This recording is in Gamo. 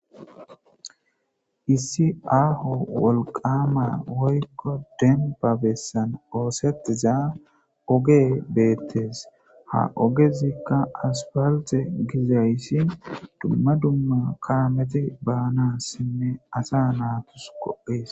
Issi aaho wolqama woykko denbabessan oosettiza oge beettes ha ogezikka aspalte gizayssi dumma dumma kaameti baanassinne asa naatus kohhees